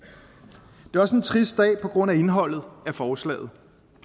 det er også en trist dag på grund af indholdet af forslaget